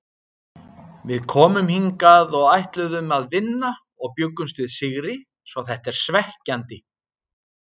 Við komum hingað og ætluðum að vinna og bjuggumst við sigri svo þetta er svekkjandi.